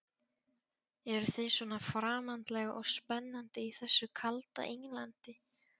Eruð þið svona framandleg og spennandi í þessu kalda Englandi?